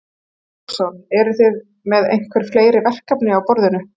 Hafsteinn Hauksson: Eruð þið með einhver fleiri verkefni á borðinu?